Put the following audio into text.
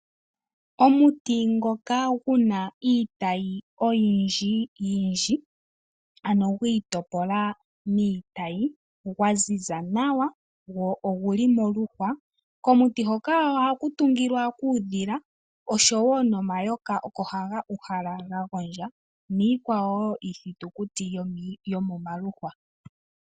Omuti ngoka guna iitayi oyindjiyindji ano gwiitopola miitayi, gwaziza nawa, go oguli moluhwa hoka ohaku tungilwa uudhila oshowoo nomayoka oko haga uhala gagondja niithitukuti oyindji iikwawo yomomaluhwa.